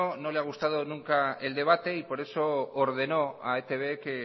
no le ha gustado nunca el debate y por eso ordenó a etb que